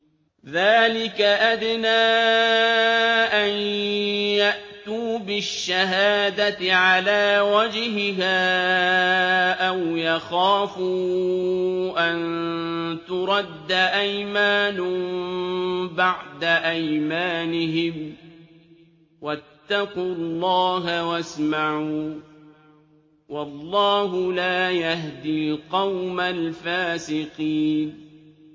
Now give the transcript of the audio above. ذَٰلِكَ أَدْنَىٰ أَن يَأْتُوا بِالشَّهَادَةِ عَلَىٰ وَجْهِهَا أَوْ يَخَافُوا أَن تُرَدَّ أَيْمَانٌ بَعْدَ أَيْمَانِهِمْ ۗ وَاتَّقُوا اللَّهَ وَاسْمَعُوا ۗ وَاللَّهُ لَا يَهْدِي الْقَوْمَ الْفَاسِقِينَ